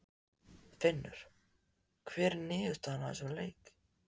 Finnur: Hver er niðurstaðan af þessum fundi?